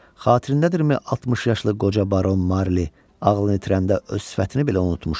Xatırındadırmi 60 yaşlı qoca Baron Marli ağlını itirəndə öz sifətini belə unutmuşdu.